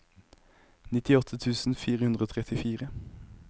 nittiåtte tusen fire hundre og trettifire